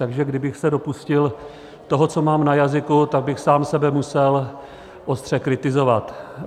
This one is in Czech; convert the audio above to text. Takže kdybych se dopustil toho, co mám na jazyku, tak bych sám sebe musel ostře kritizovat.